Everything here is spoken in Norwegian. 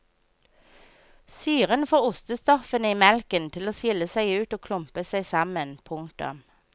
Syren får ostestoffene i melken til å skilles ut og klumpe seg sammen. punktum